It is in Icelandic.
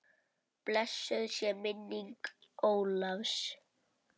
Blessuð sé minning Ólafs.